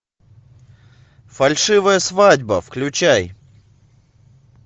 фальшивая свадьба включай